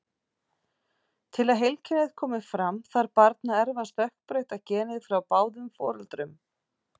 Til að heilkennið komi fram þarf barn að erfa stökkbreytta genið frá báðum foreldrum.